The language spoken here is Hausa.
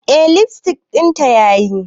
Eh lipstick dinta yayi.